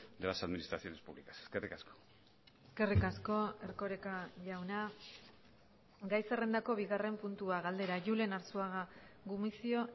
de las administraciones públicas eskerrik asko eskerrik asko erkoreka jauna gai zerrendako bigarren puntua galdera julen arzuaga gumuzio